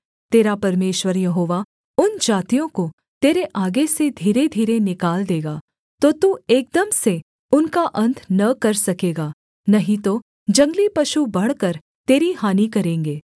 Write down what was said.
तेरा परमेश्वर यहोवा उन जातियों को तेरे आगे से धीरे धीरे निकाल देगा तो तू एकदम से उनका अन्त न कर सकेगा नहीं तो जंगली पशु बढ़कर तेरी हानि करेंगे